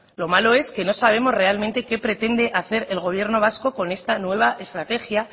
lo malo es que no sabemos realmente qué pretende hacer el gobierno vasco con esta nueva estrategia